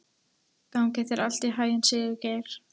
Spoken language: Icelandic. Gangi þér allt í haginn, Sigurgeir.